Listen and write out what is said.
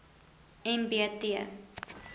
m b t